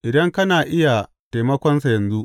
idan kana iya taimakonsa yanzu.